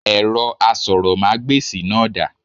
Èrọ asọ̀rọ̀mágbèsì náà dà?